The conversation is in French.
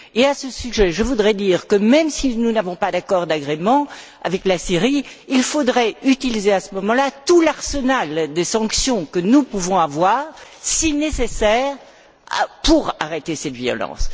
Et à ce sujet, je voudrais dire que, même si nous n'avons pas d'accord d'agrément avec la Syrie, il faudrait utiliser à ce moment là tout l'arsenal des sanctions que nous pouvons avoir, si nécessaire, pour arrêter cette violence.